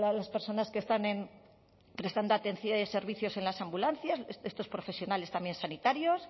las personas que están prestando servicios en las ambulancias estos profesionales también sanitarios